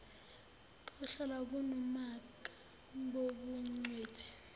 kohlala kunomaka bobungcweti